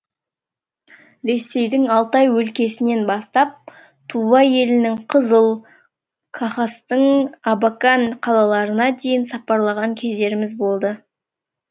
ресейдің алтай өлкесінен бастап тува елінің қызыл хакастың абакан қалаларына дейін сапарлаған кездеріміз болды